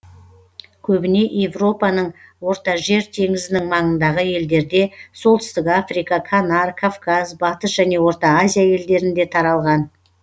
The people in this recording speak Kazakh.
көбіне европаның ортажер теңізінің маңындағы елдерде солтүстік африка канар кавказ батыс және орта азия елдерінде таралған